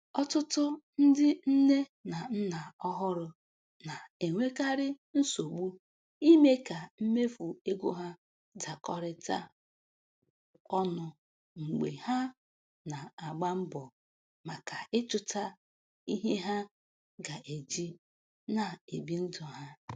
Ọtụtụ ndị nne na nna ọhụrụ na-enwekarị nsogbu ime ka mmefu ego ha dakorita ọnu mgbe há na agba mbọ maka Ichuta ihe ha ga eji na ebi ndụ ha